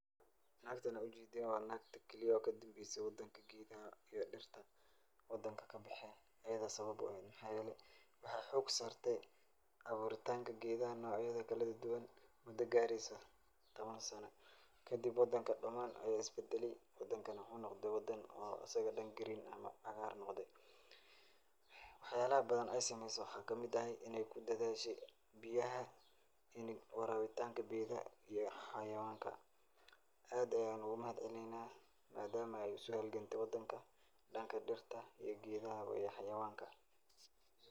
Nagtan aad ujedan wa nagti kaliyo kadambeyse wadanka geedaxa iyo dirta kabexen, iyada sabab uehet, maxa yele waxay xoog sarte aburitanka gedaxa nocyada kaladaduwan, muda gareyso tawan sano, kamid wadanka daman aya isbadalely, wadanka wuxu nogde wadan asaga dan green eh awar nogde, wax yalaxa badan ay sameyse waxa kamid axay inay kudadhashe biyaxa in warawitanka geedaxa iyo xawayankan aad ayan ugumahadcelineyna, maadamu ay usohalgamte wadanka danka dirta, geedaxa iyo xawayanka.